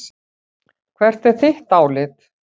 Hvert er þitt álit?